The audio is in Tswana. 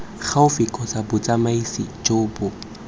gaufi kgotsa botsamaisi jo bo